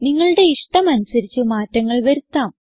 നിങ്ങളുടെ ഇഷ്ടം അനുസരിച്ച് മാറ്റങ്ങൾ വരുത്താം